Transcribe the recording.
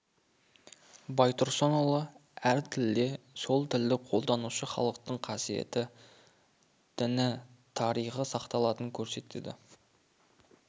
байтұрсынұлы әр тілде сол тілді қолданушы халықтың қасиеті ділі тарихы сақталатындығын көрсетеді